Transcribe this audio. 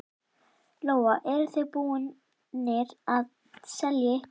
Lóa: Eruð þið búnir að selja eitthvað?